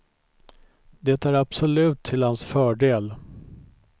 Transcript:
Det är absolut till hans fördel.